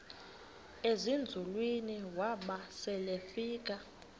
ezinzulwini waba selefika